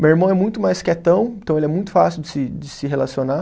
Meu irmão é muito mais quietão, então ele é muito fácil de se, de se relacionar.